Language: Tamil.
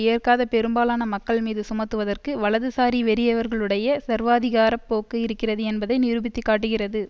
ஏற்காத பெரும்பாலான மக்கள் மீது சுமத்துவதற்கு வலது சாரி வெறியர்களுடைய சர்வாதிகார போக்கு இருக்கிறது என்பதை நிரூபித்து காட்டுகிறது